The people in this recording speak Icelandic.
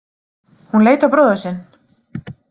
Hún leit á bróður sinn.